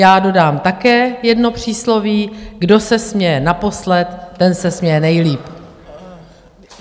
Já dodám také jedno přísloví: kdo se směje naposled, ten se směje nejlíp.